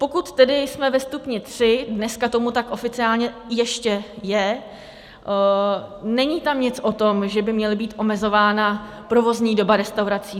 Pokud tedy jsme ve stupni tři, dneska tomu tak oficiálně ještě je, není tam nic o tom, že by měla být omezována provozní doba restaurací.